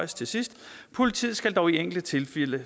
til sidst politiet skal dog i enkelte tilfælde